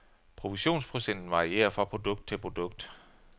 Provisionsprocenten varierer fra produkt til produkt.